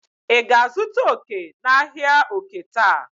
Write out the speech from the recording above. ị ga-azụta oke n'ahịa oke taa?